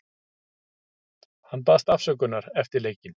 Hann baðst afsökunar eftir leikinn.